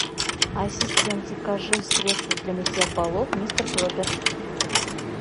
ассистент закажи средство для мытья полов мистер пропер